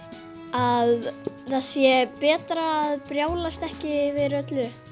að það sé betra að brjálast ekki yfir öllu